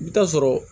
I bɛ taa sɔrɔ